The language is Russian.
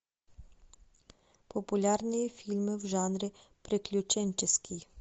популярные фильмы в жанре приключенческий